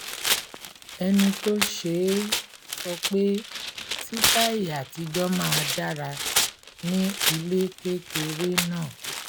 ẹni tó ṣe é sọ pé sítàì àtijọ́ máa dára ní ilé kékeré náà